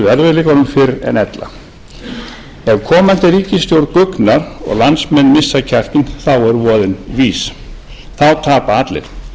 erfiðleikunum fyrr en ella ef komandi ríkisstjórn guggnar og landsmenn missa kjarkinn þá er voðinn vís þá tapa allir